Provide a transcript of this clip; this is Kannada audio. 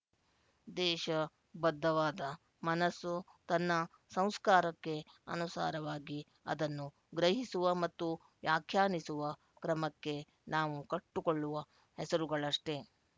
ದೇಶ ಬದ್ಧವಾದ ಮನಸ್ಸು ತನ್ನ ಸಂಸ್ಕಾರಕ್ಕೆ ಅನುಸಾರವಾಗಿ ಅದನ್ನು ಗ್ರಹಿಸುವ ಮತ್ತು ವ್ಯಾಖ್ಯಾನಿಸುವ ಕ್ರಮಕ್ಕೆ ನಾವು ಕಟ್ಟುಕೊಳ್ಳುವ ಹೆಸರುಗಳಷ್ಟೇ